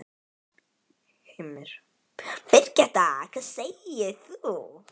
Heimir: Birgitta, hvað segir þú?